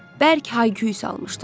Bərk hay-küy salmışdılar.